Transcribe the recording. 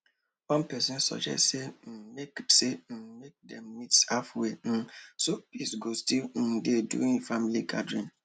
one person suggest say um make say um make dem meet halfway um so peace go still um dey during the family gathering